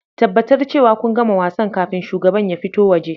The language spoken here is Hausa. Tabbatar cewa kun gama wasan kafin shugaban ya fito waje